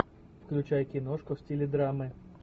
включай киношку в стиле драмы